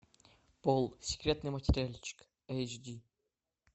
пол секретный материальчик эйч ди